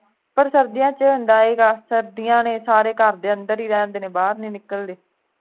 ਪਰ ਸਰਦੀਆਂ ਦੇ ਵਿਚ ਹੁੰਦਾ ਸੀ ਗਾ ਸੁਣਦਿਆਂ ਨੇ ਸਾਰੇ ਘਰ ਦੇ ਅੰਦਰ ਹੀ ਰਹਿੰਦੇ ਨੇ ਬਾਹਰ ਨਹੀਂ ਨਿਕਲਦੇ